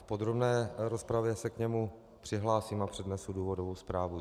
V podrobné rozpravě se k němu přihlásím a přednesu důvodovou zprávu.